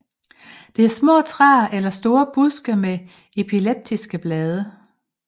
Det er små træer elle store buske med elliptiske blade